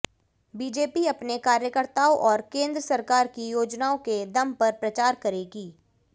BJP अपने कार्यकर्ताओं और केंद्र सरकार की योजनाओं के दम पर प्रचार करेगी